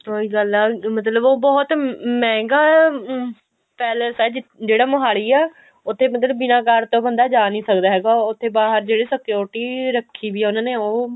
ਉਹੀ ਗੱਲ ਹੈ ਮਤਲਬ ਉਹ ਬਹੁਤ ਮਹਿੰਗਾ ਪੈਲੇਸ ਹੈ ਜਿਹੜਾ ਮੋਹਾਲੀ ਹੈ ਉੱਥੇ ਮਤਲਬ ਬਿਨਾ card ਤੋਂ ਬੰਦਾ ਜਾ ਨਹੀਂ ਸਕਦਾ ਹੈਗਾ ਉੱਥੇ ਬਾਹਰ ਜਿਹੜੇ security ਰੱਖੀ ਵੀ ਉਹਨਾ ਨੇ ਉਹ